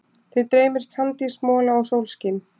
Þig dreymir kandísmola og sólskin.